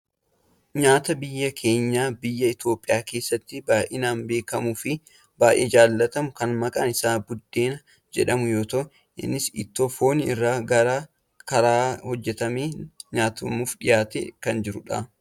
Nyaata biyya keenya biyya Itoopiyaa keessatti baayyinaan beekkamuu fi baayyee jaalatamu kan maqaan isaa buddeena jedhamu yoo ta'u innis ittoo foon irraa karaa gara garaa hojjatameen nyaatamuuf dhiyaatee kan jirudha.